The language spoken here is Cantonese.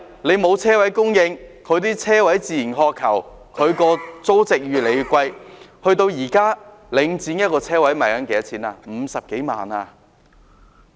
由於車位供應不足，市民自然渴求車位，令租值越來越高，現時領展一個車位的售價是50多萬元。